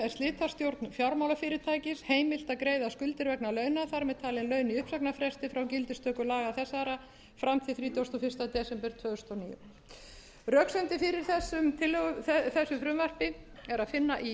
slitastjórn fjármálafyrirtækja heimilt að greiða skuldir vegna launa þar með talin laun í uppsagnarfresti frá gildistöku laga þessara fram til þrítugasta og fyrsta desember tvö þúsund og níu röksemdir fyrir þessu frumvarpi er að finna í